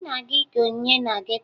Anyị na-aga ike onyinye na geto